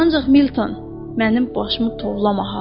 Ancaq Milton, mənim başımı tovlama ha!